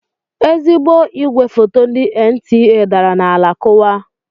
Ezigbo igwe foto ndị NTA dara n'ala kuwaa.